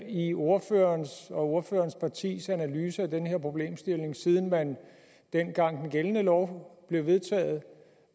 i ordførerens og ordførerens partis analyse af den her problemstilling siden man dengang den gældende lov blev vedtaget